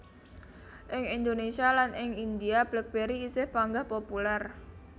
Ing Indonésia lan ing India BlackBerry isih panggah populèr